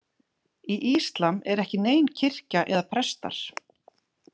Í íslam er ekki nein kirkja eða prestar.